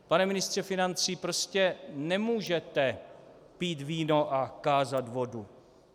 Pane ministře financí, prostě nemůžete pít víno a kázat vodu.